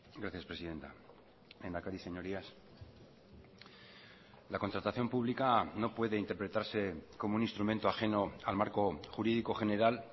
gracias presidenta lehendakari señorías la contratación pública no puede interpretarse como un instrumento ajeno al marco jurídico general